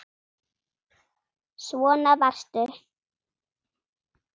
Svona varstu.